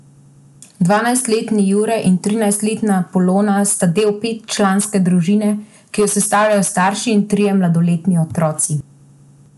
Dvanajstletni Jure in trinajstletna Polona sta del petčlanske družine, ki jo sestavljajo starši in trije mladoletni otroci.